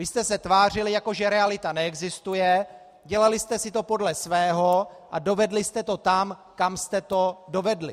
Vy jste se tvářili, jako že realita neexistuje, dělali jste si to podle svého a dovedli jste to tam, kam jste to dovedli.